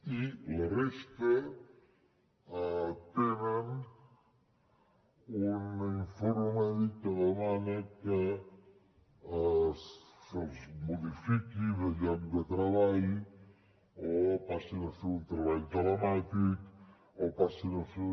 i la resta tenen un informe mèdic que demana que se’ls modifiqui de lloc de treball o passin a fer un treball telemàtic o passin a fer